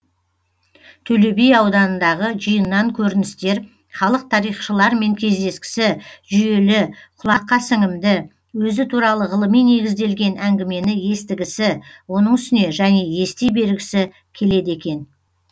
төле би ауданындағы жиыннан көріністер халық тарихшылармен кездескісі жүйелі құлаққа сіңімді өзі туралы ғылыми негізделген әңгімені естігісі оның үстіне және ести бергісі келеді екен